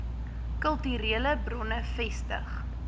kulturele bronne vestig